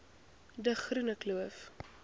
de groene kloof